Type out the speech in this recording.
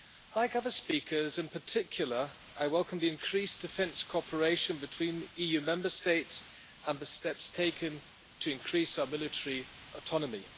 Like other speakers, in particular, I welcome the increased defence cooperation between the EU Member States and the steps taken to increase our military autonomy.